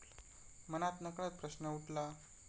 मनात नकळत प्रश्न उठला.